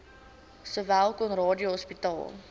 sowel conradie hospitaal